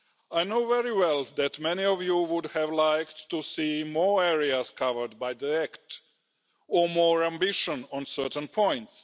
I know very well that many of you would have liked to see more areas covered or more ambition on certain points.